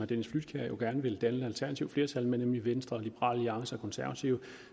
dennis flydtkjær jo gerne vil danne et alternativt flertal med nemlig venstre liberal alliance og konservative